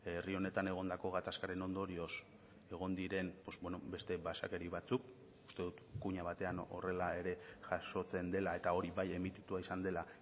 herri honetan egondako gatazkaren ondorioz egon diren beste basakeri batzuk uste dut kuña batean horrela ere jasotzen dela eta hori bai emititua izan dela